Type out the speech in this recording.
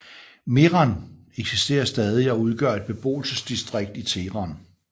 Mehran eksisterer stadig og udgør et beboelsesdistrikt i Teheran